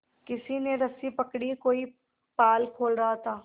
किसी ने रस्सी पकड़ी कोई पाल खोल रहा था